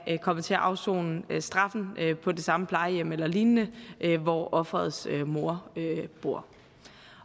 kommet til at afsone straffen på det samme plejehjem eller lignende hvor offerets mor bor